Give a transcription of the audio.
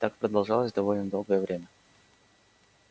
так продолжалось довольно долгое время